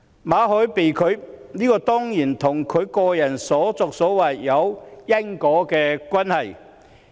馬凱的簽證申請被拒，當然與他個人的所作所為有因果關係。